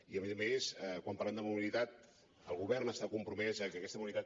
i a més a més quan parlem de mobilitat el govern està compromès a que aquesta mobilitat